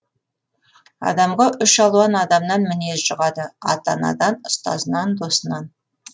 адамға үш алуан адамнан мінез жұғады ата анадан ұстазынан досынан